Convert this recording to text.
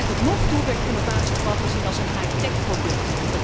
Tot nog toe werd innovatie vooral gezien als een high tech product.